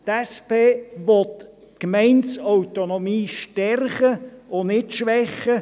Die SP-JUSO-PSA-Fraktion will die Gemeindeautonomie stärken und nicht schwächen.